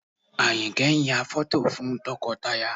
Àyìnkẹ́ ń yà fọ́tò fún tọkọtaya